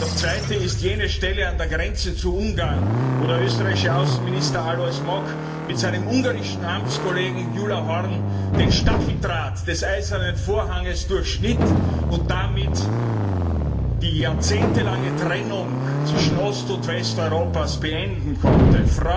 Das zweite ist jene Stelle an der Grenze zu Ungarn, wo der österreichische Außenminister Alois Mock mit seinem ungarischen Amtskollegen Gyula Horn den Stacheldraht des Eisernen Vorhangs durchschnitt und damit die jahrzehntelange Trennung zwischen Ost und West Europas beenden konnte.